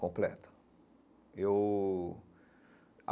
Completa eu.